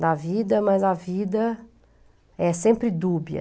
Da vida, mas a vida é sempre dúbia.